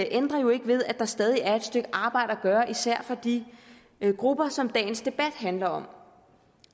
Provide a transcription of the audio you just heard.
ændrer jo ikke ved at der stadig er et stykke arbejde at gøre især for de grupper som dagens debat handler om